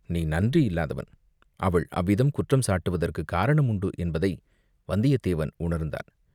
நீ நன்றி இல்லாதவன்." அவள் அவ்விதம் குற்றம் சாட்டுவதற்குக் காரணம் உண்டு என்பதை வந்தியத்தேவன் உணர்ந்தான்.